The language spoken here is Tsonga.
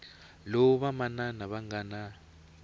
lowu vamanana va nga na